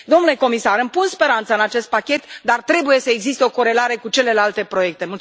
Domnule comisar, îmi pun speranța în acest pachet, dar trebuie să existe o corelare cu celelalte proiecte.